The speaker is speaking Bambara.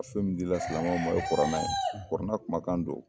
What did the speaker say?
fɛn min di la silamɛnw ma o ye kurana ye kurana kumakan do.